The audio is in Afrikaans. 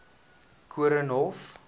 koornhof